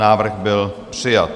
Návrh byl přijat.